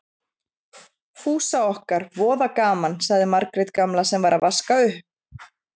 Fúsa okkar, voða gaman, sagði Margrét gamla sem var að vaska upp.